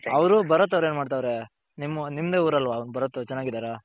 ಅವರು ಬರತ್ ಎನ್ ಮಾಡ್ತಾವ್ರೆ ನಿಮ್ಮದೇ ಉರಲ್ಲ ಬರತ್ ಚೆನ್ನಗಿದರ